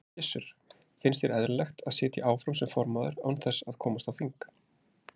Gissur: Finnst þér eðlilegt að sitja áfram sem formaður án þess að komast á þing?